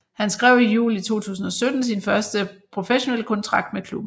Han skrev i juli 2017 sin første professionelle kontrakt med klubben